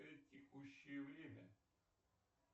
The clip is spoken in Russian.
текущее время